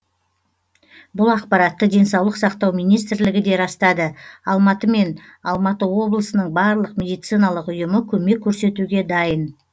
бұл ақпаратты денсаулық сақтау министрлігі де растады алматы мен алматы облысының барлық медициналық ұйымы көмек көрсетуге дайын